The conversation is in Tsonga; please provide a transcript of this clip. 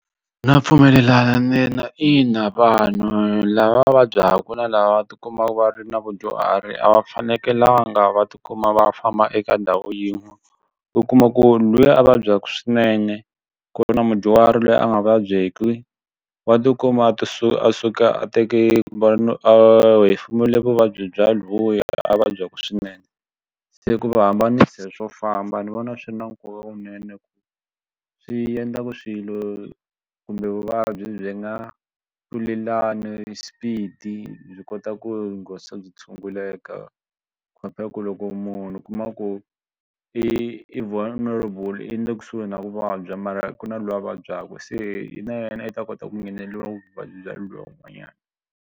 Na pfumelelana ntsena ina vanhu lava va vabyaka na lava va tikuma va ri na vadyuhari a va fanekelanga va tikuma va famba eka ndhawu yin'we. U kuma ku luya a vabyaka swinene ku ri na mudyuhari loyi a nga vabyeki wa tikuma a to suka a suka a teke kumbe a hefemula vuvabyi bya luya a vabyaka swinene se ku va hambanisa swo famba ni vona swi ri na nkoka kunene ku swi endla ku swilo kumbe vuvabyi byi nga tlulelani speed byi kota ku byi tshunguleka compare ku loko munhu u kuma ku i vulnerable i le kusuhi na ku vabya mara ku na loyi a vabyaka se na yena i ta kota ku ngheneriwa hi vuvabyi bya luya un'wanyana.